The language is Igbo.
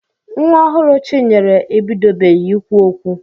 Nwa ọhụrụ Chinyere ebidobeghi ikwu okwu.